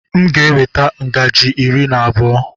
M ga-eweta ngaji iri na abụọ.